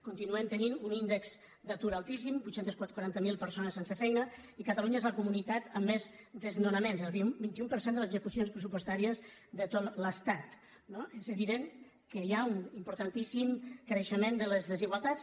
continuem tenint un índex d’atur altíssim vuit cents i quaranta miler persones sense feina i catalunya és la comunitat amb més desnonaments el vint un per cent de les execucions pressupostàries de tot l’estat no és evident que hi ha un importantíssim creixement de les desigualtats